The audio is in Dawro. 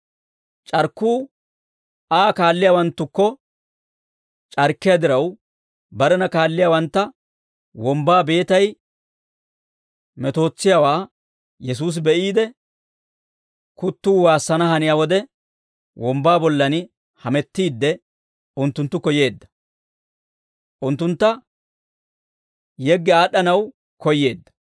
C'arkkuu Aa kaalliyaawanttukko c'arkkiyaa diraw, barena kaalliyaawantta wombbaa beetay metootsiyaawaa Yesuusi be'iide, kuttuu waassana haniyaa wode wombbaa bollan hamettiidde, unttunttukko yeedda; unttuntta yeggi aad'd'anaw koyyeedda.